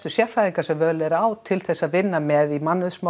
sérfræðingar sem völ er á til þess að vinna með í